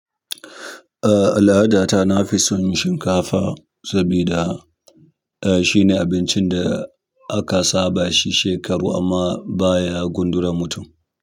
Ah, al'adata na fi son yin shinkafa sabida ah, shine abincin da aka saba shi shekaru amma baya gundura mutum.